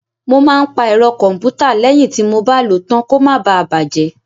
Mọ máa ń pa ẹ̀rọ kọ̀m̀pútà lẹ́yìn tí mọ bá lò ó tán kó má bà á bàjẹ́.